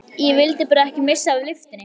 Ég vildi bara ekki missa af lyftunni!